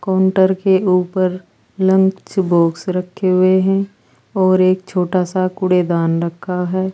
Counter के ऊपर lunch box रखे हुए हैं और एक छोटा सा कूड़ेदान रखा है।